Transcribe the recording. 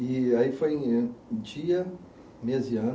E aí foi em dia, mês e ano.